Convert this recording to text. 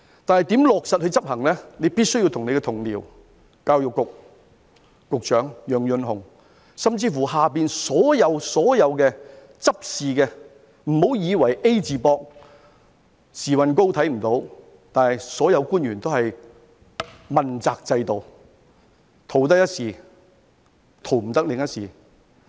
但是，如何落實執行，你必須與你的同僚、教育局局長楊潤雄，甚至轄下所有執事的，不要以為 "A 字膊"、時運高看不到，所有官員都是問責制的，逃得一時，逃不得另一時。